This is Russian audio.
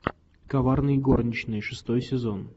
коварные горничные шестой сезон